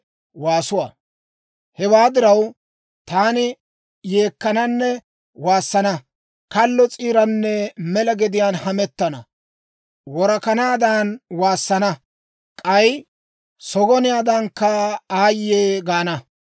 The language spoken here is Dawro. Hewaa diraw, taani yeekkananne waassana; kallo s'iiranne mela gediyaan hamettana; worakanaadan waassana; k'ay sogoniyaadankka aayye gaana.